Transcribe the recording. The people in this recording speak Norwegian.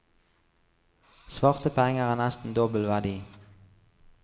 Svarte penger har nesten dobbel verdi.